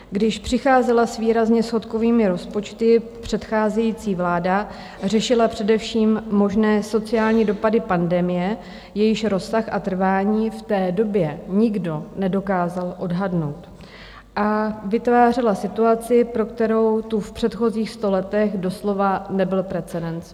Když přicházela s výrazně schodkovými rozpočty předcházející vláda, řešila především možné sociální dopady pandemie, jejíž rozsah a trvání v té době nikdo nedokázal odhadnout, a vytvářela situaci, pro kterou tu v předchozích sto letech doslova nebyl precedens.